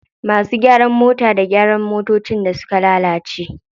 Masu gyaran mota da gyara motocin da suka lalace.